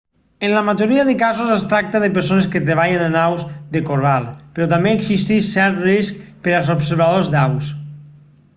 en la majoria de casos es tracta de persones que treballen amb aus de corral però també existeix cert risc per als observadors d'aus